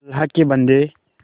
अल्लाह के बन्दे